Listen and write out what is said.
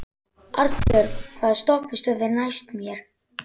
Arnbjörg, hvaða stoppistöð er næst mér?